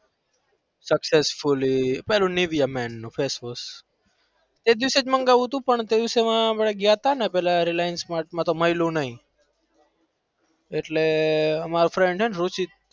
successfully પેલું Nivea men નું face wash એ દિવસે જ મંગાવું તું પણ તે દિવસે માં આપણે ગયા તા ને પેલા reliance mart માં તો માયલું નઈ એટલે મારો friend હે ને રુચિત